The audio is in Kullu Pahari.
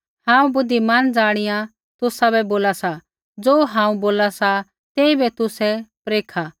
हांऊँ बुद्धिमान ज़ाणिया तुसाबै बोला सा ज़ो हांऊँ बोला सा तेइबै तुसै परखा